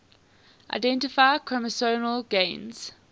identify chromosomal gains